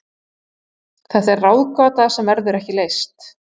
Þetta er ráðgáta sem verður ekki leyst.